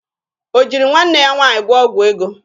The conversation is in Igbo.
O jiri nwanne ya nwaanyị gwụọ ọgwụ ego?